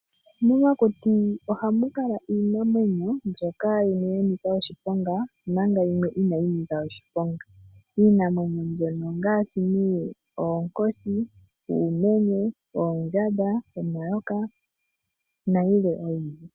Momakuti ohamu kala iinamwenyo yimwe mbyoka ya nika oshiponga omanga yimwe inayi nika oshiponga. Iinamwenyo mbyono ongaashi nee oonkoshi, uumenye, oondjamba, omayoka nayilwe oyindji.